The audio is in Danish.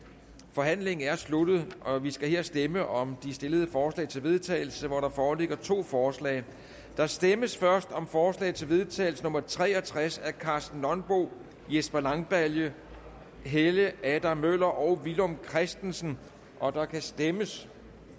forhandlingen er sluttet og vi skal her stemme om de stillede forslag til vedtagelse hvor der foreligger to forslag der stemmes først om forslag til vedtagelse nummer v tre og tres af karsten nonbo jesper langballe helge adam møller og villum christensen og der kan stemmes